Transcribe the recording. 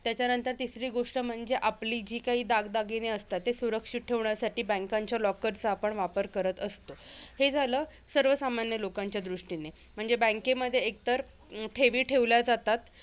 त्याच्यानंतर तिसरी गोष्ट म्हणजे आपली जी काही दागदागिने असतात, ते सुरक्षित ठेवण्यासाठी banks च्या locker चा आपण वापर करत असतो. हे झालं सर्वसामान्य लोकांच्या दृष्टीने म्हणजे bank मध्ये एकतर ठेवी ठेवल्या जातात.